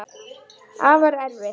Afar erfitt.